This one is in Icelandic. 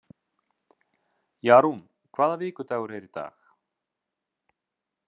Jarún, hvaða vikudagur er í dag?